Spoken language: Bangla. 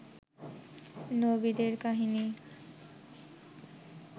নবীদের কাহিনী